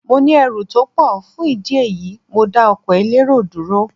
Mo ní ẹrù tó pọ̀, fún ìdí èyí, mo dá ọkọ̀ elérò dúró.